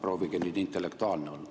Proovige nüüd intellektuaalne olla.